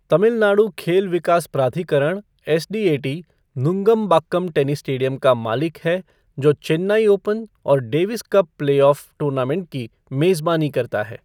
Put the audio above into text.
तमिलनाडु खेल विकास प्राधिकरण एसडीएटी नुंगमबाक्कम टेनिस स्टेडियम का मालिक है जो चेन्नई ओपन और Davis cup play off tournament की मेजबानी करता है।